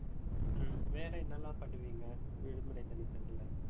ஹம் வேற என்னெல்லாம் பண்ணுவிங்க விடுமுறை தினத்துல